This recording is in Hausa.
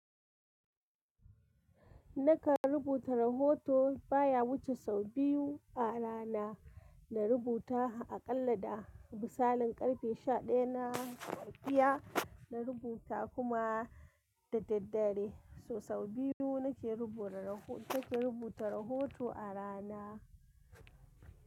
Nakan rubuta rahoto baya wuce sau biyu a rana na rubuta aƙalla da misalin ƙarfe sha daya na safiya na rubuta kuma da daddare. So sau biyu nake rubuta rahoto a rana.